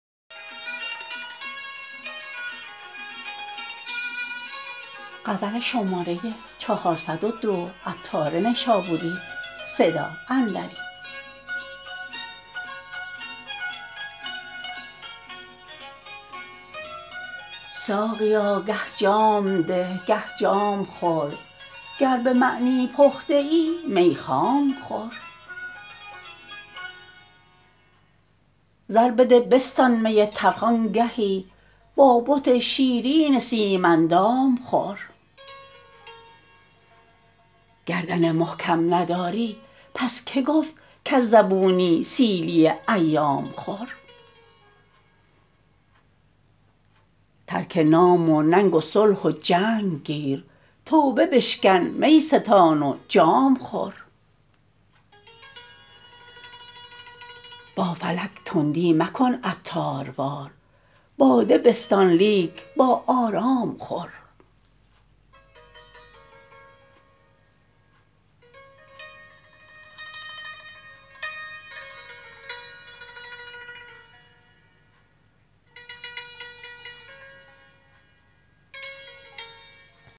ساقیا گه جام ده گه جام خور گر به معنی پخته ای می خام خور زر بده بستان می تلخ آنگهی با بت شیرین سیم اندام خور گردن محکم نداری پس که گفت کز زبونی سیلی ایام خور ترک نام و ننگ و صلح و جنگ گیر توبه بشکن می ستان و جام خور با فلک تندی مکن عطاروار باده بستان لیک با آرام خور